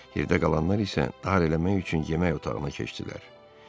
Yerdə qalanlar isə darıxdırmaq üçün yemək otağına keçdilər.